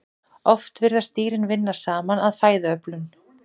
Oft virðast dýrin vinna saman að fæðuöflun.